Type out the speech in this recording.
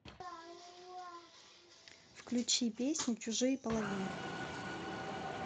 включи песню чужие половины